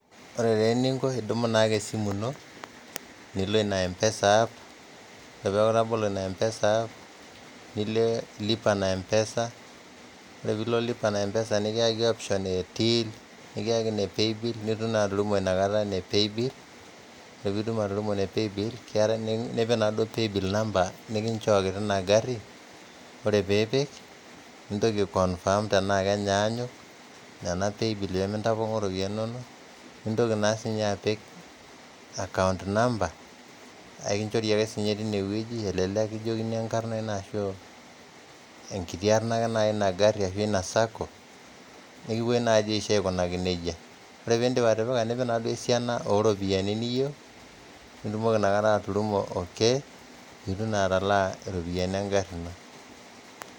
Ore ninko idumu naake esimu ino, nilo ina mpesa app, ore paaku itabolo ina mpesa app nilo loipa na mpesa ore piilo lipa na mpesa nikieki option e ntill nikeiki ene paybill netii nalimu inakata ene paybill ore piindim atudung'o ene paybill keatai nipik naado paybill number nikinchooki te eng'arri, ore piipik nintoki aikonfam tenaa kenyaanyuk nena paybilli pemintapong'oo iropiyiani inono nintoki naa sii ninye apik account number ekinchori si ake ninye teineweji elelek nikijokini enkarna enaasho enkiti arna ake eina garri eina sacco nikipikani naaji oshi aikunaki neja, ore piindip atipika nikipik naa duo esiana ooropiyiani niyeu nitumoki naake inakata aturrumo ok nitum atalaa iropiyiani eng'arri ino.